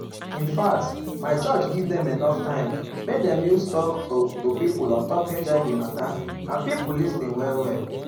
infact my church give dem enough time make dem use talk um to pipo ontop hiv mata and pipo lis ten well well.